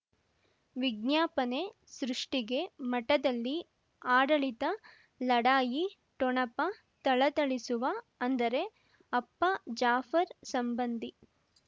ವಿಜ್ಞಾಪನೆ ಸೃಷ್ಟಿಗೆ ಮಠದಲ್ಲಿ ಆಡಳಿತ ಲಢಾಯಿ ಠೊಣಪ ಥಳಥಳಿಸುವ ಅಂದರೆ ಅಪ್ಪ ಜಾಫರ್ ಸಂಬಂಧಿ